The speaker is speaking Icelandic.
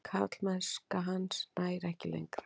Karlmennska hans nær ekki lengra.